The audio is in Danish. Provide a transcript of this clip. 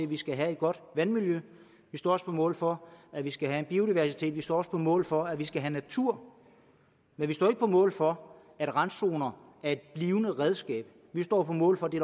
vi skal have et godt vandmiljø vi står også på mål for at vi skal have biodiversitet vi står også på mål for at vi skal have natur men vi står ikke på mål for at randzoner er et blivende redskab vi står på mål for det